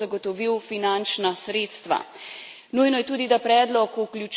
A dodatno vprašanje je, kdo bo zagotovil finančna sredstva?